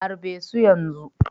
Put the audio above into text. Harbe su yanzu!